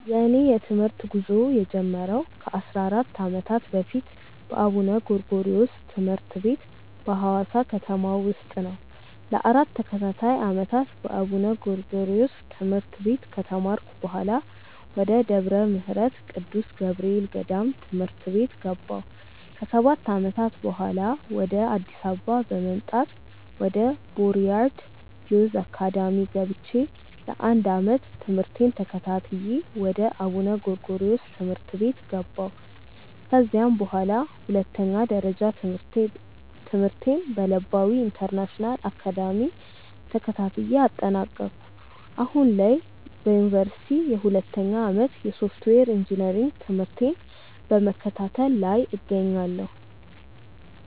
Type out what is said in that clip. የእኔ የትምህርት ጉዞ የጀመረው ከ 14 ዓመታት በፊት በአቡነ ጎርጎሪዎስ ትምህርት ቤት በሀዋሳ ከተማ ውስጥ ነው። ለ 4 ተከታታይ ዓመታት በአቡነ ጎርጎሪዮስ ትምህርት ቤት ከተማርኩ በኃላ፣ ወደ ደብረ ምህረት ቅዱስ ገብርኤል ገዳም ትምህርት ቤት ገባሁ። ከ 7 ዓመታትም በኃላ፣ ወደ አዲስ አበባ በመምጣት ወደ ቦርያድ ዮዝ አካዳሚ ገብቼ ለ 1 ዓመት ትምህርቴን ተከታትዬ ወደ አቡነ ጎርጎሪዮስ ትምህርት ቤት ገባሁ። ከዚያም በኃላ ሁለተኛ ደረጃ ትምህርቴን በለባዊ ኢንተርናሽናል አካዳሚ ተከታትዬ አጠናቀኩ። አሁን ላይ በዮኒቨርሲቲ የሁለተኛ ዓመት የሶፍትዌር ኢንጂነሪንግ ትምህርቴን በመከታተል ላይ እገኛለሁ።